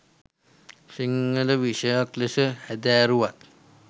සිංහල විෂයයක් ලෙස හැදෑරුවත්